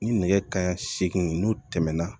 Ni nɛgɛ kaɲɛ segin n'o tɛmɛna